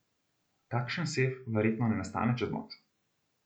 Takšen sef verjetno ne nastane čez noč.